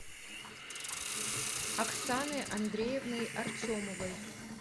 оксаной андреевной артемовой